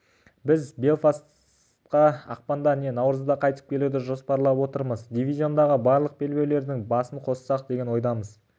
біз белфастқа ақпанда не наурызда қайтып келуді жоспарлап отырмыз дивизиондағы барлық белбеулердің басын қоссақ деген ойымыз